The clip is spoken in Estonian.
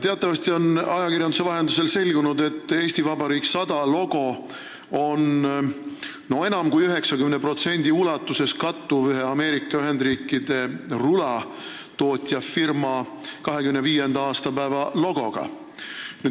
Teatavasti on ajakirjanduse vahendusel selgunud, et "Eesti Vabariik 100" logo kattub enam kui 90% ulatuses ühe Ameerika Ühendriikide rulatootjafirma 25. aastapäeva logoga.